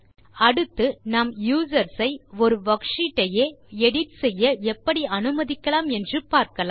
அடுத்து நாம் யூசர்ஸ் ஒரு வர்க்ஷீட் ஐயே எடிட் செய்ய எப்படி அனுமதிக்கலாம் என்று பார்க்கலாம்